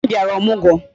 Nne m bịara ọmụgwọ